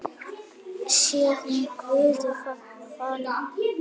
Sé hún Guði falin.